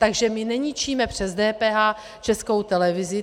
Takže my neničíme přes DPH Českou televizi.